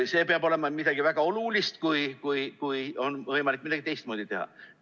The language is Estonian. Siis peab olema midagi väga olulist, et oleks võimalik midagi teistmoodi teha.